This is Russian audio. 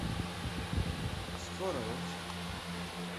скоро осень